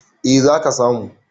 eh za ka samu